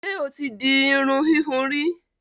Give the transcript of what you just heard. Ṣé o ti di irun ìhun rí?